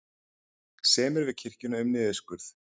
Semja við kirkjuna um niðurskurð